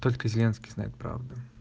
только зеленский знает правду